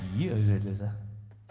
vitleysa